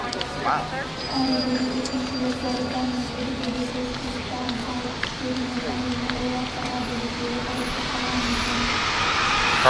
әрі-бері өткіншілер зарипа мен едігеге көз қиықтарын салып іштерінен әрине ойлап барады екеуі ұрсысып қалған екен